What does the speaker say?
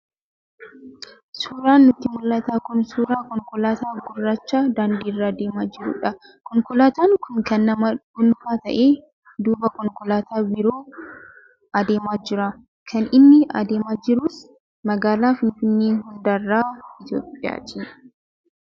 Suuraan nutti mul'atu kun suuraa konkolaataa gurraacha daandii irra deemaa jirudha. Konkolaataan kun kan nama dhuunfaa ta'ee, duuba konkolaattota biroo adeemaa jira. Kan inni adeemaa jirus magaalaa Finfinnee handhuura Itoophiyaati.